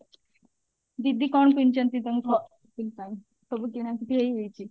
ଦିଦି କଣ ପିନ୍ଧୁଛନ୍ତି ତାଙ୍କ ଘ shopping ପାଇଁ ସବୁ କିଣା କିଣି ହେଇଯାଇଛି